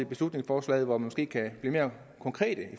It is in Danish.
beslutningsforslaget hvor vi måske kan blive mere konkrete